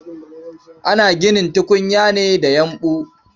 Ana ginin tukunya ne da yumɓu.